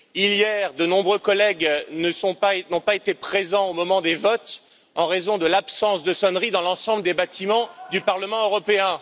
Hier, de nombreux collègues n'ont pas été présents au moment des votes en raison de l'absence de sonnerie dans l'ensemble des bâtiments du Parlement européen.